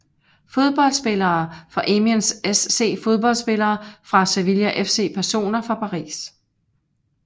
Fodboldspillere fra Amiens SC Fodboldspillere fra Sevilla FC Personer fra Paris